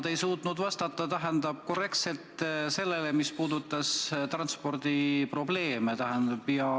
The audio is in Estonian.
Te ei suutnud vastata korrektselt küsimusele, mis puudutas transpordiprobleeme.